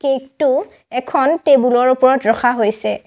Cake টো এখন table ৰ ওপৰত ৰখা হৈছে।